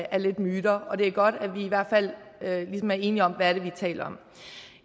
af myter og det er godt at vi i hvert fald ligesom er enige om hvad det er vi taler om